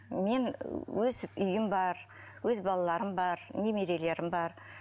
мен өз үйім бар өз балаларым бар немерелерім бар